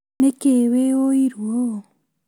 Nĩkĩĩ wĩ ũiru ũũ?